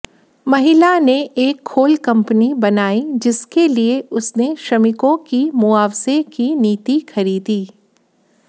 महिला ने एक खोल कंपनी बनाई जिसके लिए उसने श्रमिकों की मुआवजे की नीति खरीदी